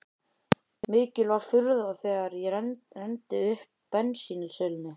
Mikil var furðan þegar ég renndi uppað bensínsölunni.